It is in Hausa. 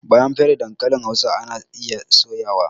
Bayan an fere dankalin hausa ana iya soya wa